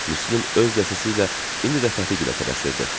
Müslüm öz dəsəsi ilə indi də Fəti gilə tələsirdi.